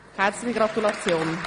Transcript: Herzliche Gratulation.